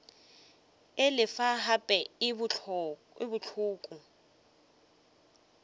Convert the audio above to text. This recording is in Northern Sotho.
e lefa gape e bohloko